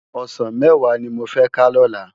Òsán mèwá ni mó fè ká lòlá